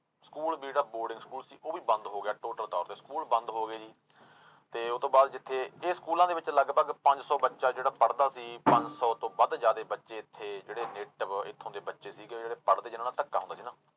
school ਜਿਹੜਾ boarding school ਸੀ ਉਹ ਵੀ ਬੰਦ ਹੋ ਗਿਆ total ਤੌਰ ਤੇ ਸਕੂਲ ਬੰਦ ਹੋ ਗਏ ਜੀ, ਤੇ ਉਹ ਤੋਂ ਬਾਅਦ ਜਿੱਥੇ ਇਹ ਸਕੂਲਾਂ ਦੇ ਵਿੱਚ ਲਗਪਗ ਪੰਜ ਸੌ ਬੱਚਾ ਜਿਹੜਾ ਪੜ੍ਹਦਾ ਸੀ ਪੰਜ ਸੌ ਤੋਂ ਵੱਧ ਜ਼ਿਆਦੇ ਬੱਚੇ ਇੱਥੇ ਜਿਹੜੇ native ਇੱਥੋਂ ਦੇ ਬੱਚੇ ਸੀਗੇ ਜਿਹੜੇ ਪੜ੍ਹਦੇ ਜਿਹਨਾਂ ਨਾਲ ਧੱਕਾ ਹੁੰਦਾ ਸੀ ਨਾ